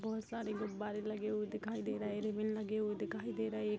बहोत सारे गुब्बारें लगे हुए दिखाई दे रहे हैं रिबन लगी हुई दिखाई दे रही --